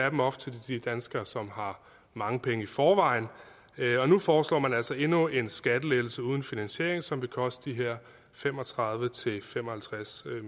af dem også til de danskere som har mange penge i forvejen og nu foreslår man altså endnu en skattelettelse uden finansiering som vil koste de her fem og tredive til fem og halvtreds